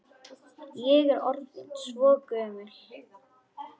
Ég er orðin svo gömul.